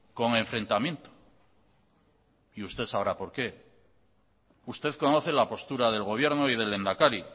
con enfrentamiento y usted sabrá por qué usted conoce la postura del gobierno y del lehendakari